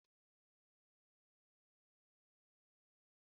Ewekwala saidin ahụ nọ na tebụl